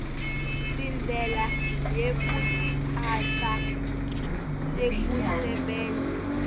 tindlela yekutiphatsa tekusebenta